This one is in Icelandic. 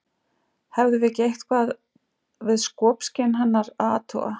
Hefðum við ekki eitthvað við skopskyn hennar að athuga?